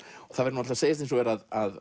og það verður að segjast eins og er að